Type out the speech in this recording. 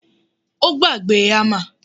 Ó gbàgbé hammer